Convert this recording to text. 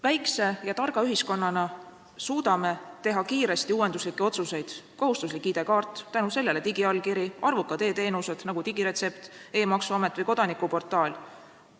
Väikse ja targa ühiskonnana suudame teha kiiresti uuenduslikke otsuseid: kohustuslik ID-kaart, tänu sellele digiallkiri, arvukad e-teenused, nagu digiretsept, e-maksuamet või kodanikuportaal.